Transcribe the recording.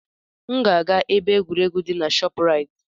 M ga-aga na ebe egwuregwu di na ShopRite.